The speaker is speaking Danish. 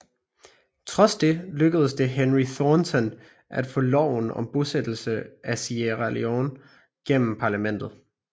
Trods det lykkedes det Henry Thornton at få loven om bosættelse af Sierra Leone gennem parlamentet